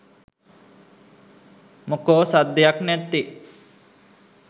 මොකෝ සද්දයක් නැත්තෙ .?